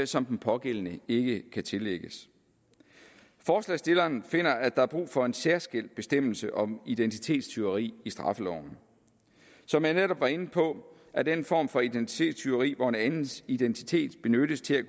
som den pågældende ikke kan tillægges forslagsstilleren finder at der er brug for en særskilt bestemmelse om identitetstyveri i straffeloven som jeg netop var inde på er den form for identitetstyveri hvor en andens identitet benyttes til